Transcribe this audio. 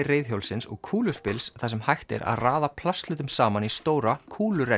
reiðhjólsins og þar sem hægt er að raða plasthlutum saman í stóra